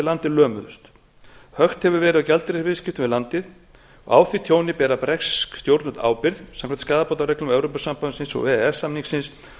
við landið lömuðust hökt hefur verið á gjaldeyrisviðskiptum við landið á því tjóni bera bresk stjórnvöld ábyrgð samkvæmt skaðabótareglum evrópusambandsins og e e s samningsins